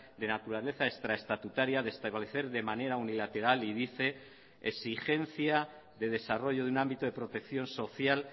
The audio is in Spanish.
de naturaleza extra estatutaria de establecer de manera unilateral y dice exigencia de desarrollo de un ámbito de protección social